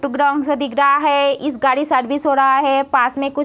Brown -सा दिख रहा है। इस गाड़ी सर्विस हो रहा है पास में कुछ --